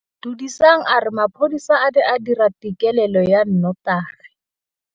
Duduetsang a re mapodisa a ne a dira têkêlêlô ya nnotagi.